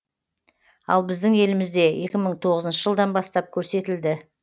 ал біздің елімізде екі мың тоғызыншы жылдан бастап көрсетілді